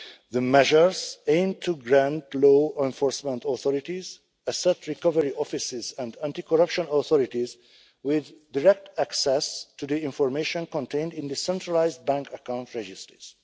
The measures aim to grant law enforcement authorities, asset recovery offices and anti corruption authorities direct access to the information contained in the centralised bank account registers.